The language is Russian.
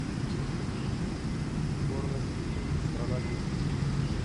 порнофильмы страна глухих